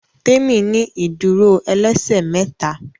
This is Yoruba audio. Temi ní ìdúró ẹlẹsẹ méta